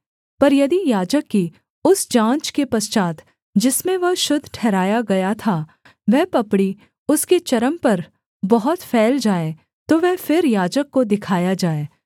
पर यदि याजक की उस जाँच के पश्चात् जिसमें वह शुद्ध ठहराया गया था वह पपड़ी उसके चर्म पर बहुत फैल जाए तो वह फिर याजक को दिखाया जाए